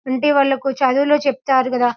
అంటే వాళ్లకు చదువులో చెప్తారు కదా --